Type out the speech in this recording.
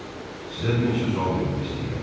Sizə bir neçə sual vermək istəyirəm.